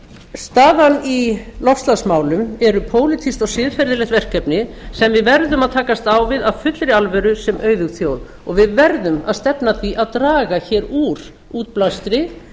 staðan í loftslagsmálum eru pólitískt og siðferðilegt verkefni sem við verðum að takast á við af fullri alvöru sem auðug þjóð og við verðum að stefna að því að draga hér úr útblæstri